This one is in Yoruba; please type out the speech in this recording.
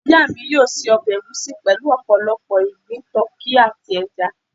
iya mi yóò ṣe ọbẹ̀ ègúsi pelu opolopo igbin, tuki ati ẹja.